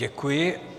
Děkuji.